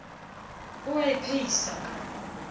o a e phehisa kano